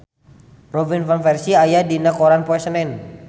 Robin Van Persie aya dina koran poe Senen